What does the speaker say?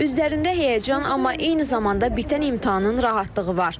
Üzlərində həyəcan, amma eyni zamanda bitən imtahanın rahatlığı var.